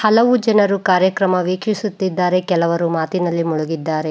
ಹಲವು ಜನ ಕಾರ್ಯಕ್ರಮ ವೀಕ್ಷಿಸುತ್ತಿದ್ದಾರೆ ಕೆಲವರು ಮಾತಿನಲ್ಲಿ ಮುಳುಗಿದ್ದಾರೆ.